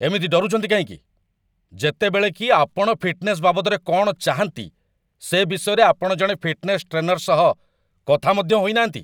ଏମିତି ଡରୁଛନ୍ତି କାହିଁକି, ଯେତେବେଳେ କି ଆପଣ ଫିଟନେସ୍ ବାବଦରେ କ'ଣ ଚାହାଁନ୍ତି, ସେ ବିଷୟରେ ଆପଣ ଜଣେ ଫିଟନେସ୍ ଟ୍ରେନର ସହ କଥା ମଧ୍ୟ ହୋଇନାହାନ୍ତି?